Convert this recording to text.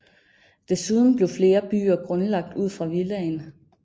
Desuden blev flere byer grundlagt ud fra villaen